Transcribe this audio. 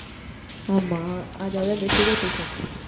ஆமா. அதாவது அந்த sugar patients